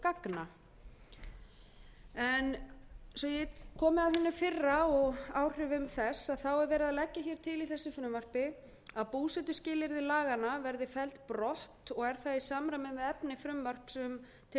gagna svo ég komi að hinu fyrra og áhrifum þess þá er verið að leggja hér til í þessu frumvarpi að búsetuskilyrði laganna verði felld brott og er það í samræmi við efni frumvarps til